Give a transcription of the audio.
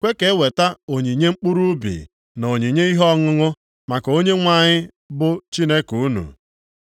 kwe ka eweta onyinye mkpụrụ ubi na onyinye ihe ọṅụṅụ maka Onyenwe anyị bụ, Chineke unu.